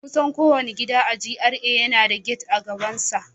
Kusan kowane gida a GRA yana da gate a gabansa